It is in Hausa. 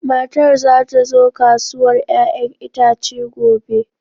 Matar za ta zo kasuwar 'ya'yan itace gobe.